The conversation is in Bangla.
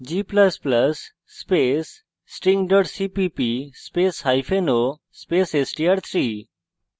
g ++ space string cpp spaceo space str3